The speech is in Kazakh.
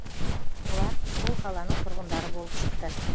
олар сол қаланың тұрғындары болып шықты